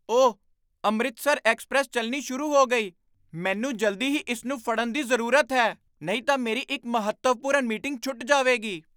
ਓਹ! ਅੰਮ੍ਰਿਤਸਰ ਐਕਸਪ੍ਰੈੱਸ ਚੱਲਣੀ ਸ਼ੁਰੂ ਹੋ ਗਈ। ਮੈਨੂੰ ਜਲਦੀ ਹੀ ਇਸ ਨੂੰ ਫੜਨ ਦੀ ਜ਼ਰੂਰਤ ਹੈ ਨਹੀਂ ਤਾਂ ਮੇਰੀ ਇੱਕ ਮਹੱਤਵਪੂਰਨ ਮੀਟਿੰਗ ਛੁੱਟ ਜਾਵੇਗੀ।